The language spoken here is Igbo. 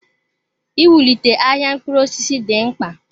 Iwulite ahịa mkpụrụ osisi dị mkpa.